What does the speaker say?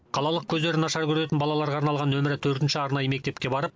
қалалық көздері нашар көретін балаларға арналған нөмір төртінші арнайы мектепке барып